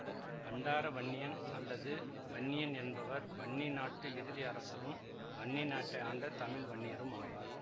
பண்டார வன்னியன் அல்லது வன்னியன் என்பவர் வன்னி நாட்டு இறுதி அரசரும் வன்னி நாட்டை ஆண்ட தமிழ் வன்னியரும் ஆவார்